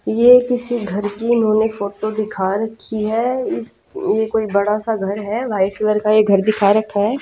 ये किसी घर की इन्होंने फोटो दिखा रखी है इस ये कोई बड़ा सा घर है वाइट कलर का ये घर दिखा रखा है।